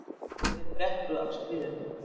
Ég fékk fréttir af stríðinu.